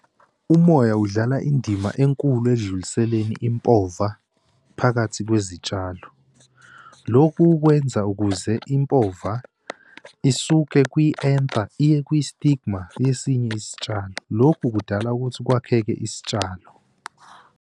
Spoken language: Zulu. Umoya udlala indima enkulu ekudluliseni impova phakathi kwezitshalo. Lokhu kwenza ukuze impova isuke kwi-anther iye kwi-stigma yesinye isitshalo. Lokhu kudala ukuthi kwakheke isitshalo.